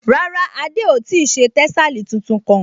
Rárá, Adé ò ti ṣe tẹ́sàlí tuntun kán